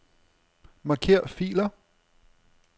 Marker filer.